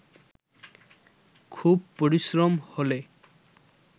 খুব পরিশ্রম হলে